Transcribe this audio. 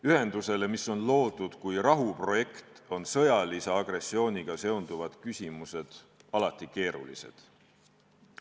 Ühendusele, mis on loodud kui rahuprojekt, on sõjalise agressiooniga seonduvad küsimused alati keerulised.